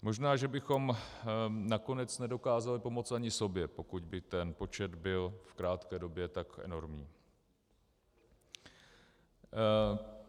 Možná že bychom nakonec nedokázali pomoci ani sobě, pokud by ten počet byl v krátké době tak enormní.